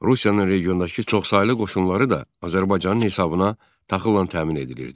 Rusiyanın regiondakı çoxsaylı qoşunları da Azərbaycanın hesabına taxılan təmin edilirdi.